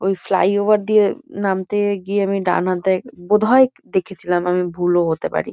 ওই ফ্লাইওভার দিয়ে নামতে গিয়ে আমি ডানহাতে বোধ হয় দেখেছিলাম। আমি ভুলও হতে পারি।